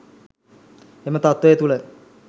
එම තත්වය තූළ